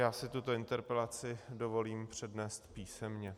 Já si tuto interpelaci dovolím přednést písemně.